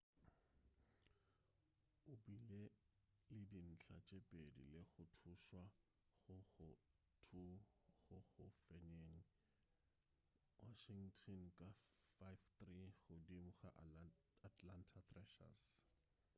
o bile le dintlha tše pedi le go thušwa go go 2 go go fenyeng washington ka 5-3 godimo ga atlanta thrashers